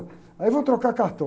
Aí vamos trocar cartão.